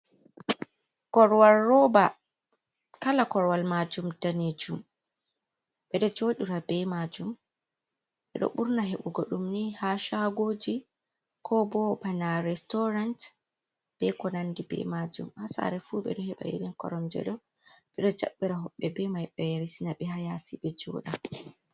korowal rooba, kala korowal maajum daneejum, ɓe ɗo joodora bee majum ɓe do burna heɓugo ɗum ni haa shagooji ko bo bana restorant be konande bee maajum, haa saare fuu ɓe ɗo heɓa irin koromje ɗo ɓe ɗo jaira hoɓbeeji bee mai ɓe ya resina ɓe haa yaasi ɓe jooɗa.